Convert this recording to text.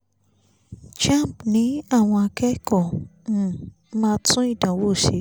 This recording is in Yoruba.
jamb ni àwọn akẹ́kọ̀ọ́ um máa tún ìdánwò ṣe